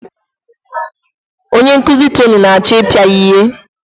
Onye nkuzi Tony na-achọ ịpịa ya ihe.